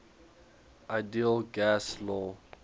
ideal gas law